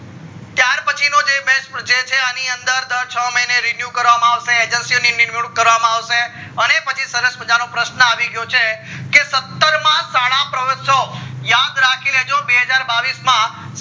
ત્યાર પછી નો જે best project જે છે અણી અંદર દર છ મહીને renew કરવામાં આવશે agency ને નીમ્યુક્ત કરવામાં આવશે અને પછી સરસ મજાનો પ્રશ્ન આવી યો છે સત્તર માં શાળા મહોત્સવ યાદ રાખી લેજો બેહજાર બાવીશ માં